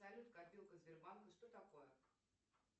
салют копилка сбербанка что такое